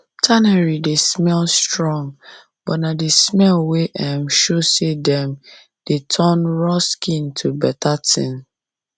tannery dey smell strong but na the smell wey um show say dem um dey turn raw skin to better thing um